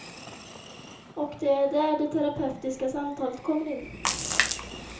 Och det är där det terapeutiska samtalet kommer in.